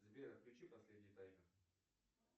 сбер включи последний таймер